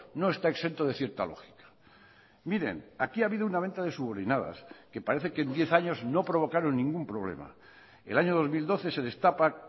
no está exento de cierta lógica miren aquí ha habido una venta de subordinadas que parece que en diez años no provocaron ningún problema el año dos mil doce se destapa